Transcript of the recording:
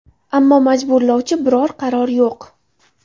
Ammo majburlovchi biror qaror yo‘q.